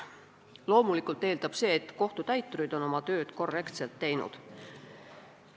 Loomulikult eeldab see, et kohtutäiturid on oma tööd korrektselt teinud.